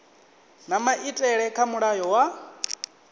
na maitele kha mulayo wa